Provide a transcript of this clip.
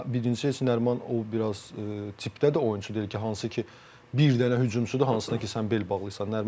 Amma birincisi heç Nəriman o biraz tipdə də oyunçu deyil ki, hansı ki, bir dənə hücumçudur hansına ki, sən bel bağlayırsan.